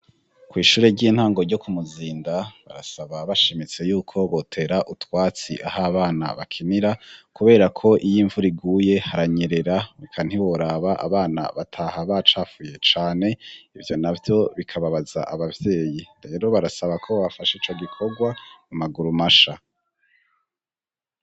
Kwishure ry'intango ryo ku Muzinda barasaba bashimitse yuko botera utwatsi aho abana bakinira kuberako iyo imvura iguye haranyerera eka ntiworaba abana bataha bacafuye cane ivyo navyo bikababaza abavyeyi, rero barasaba ko bobafasha ico gikorwa mu maguru masha.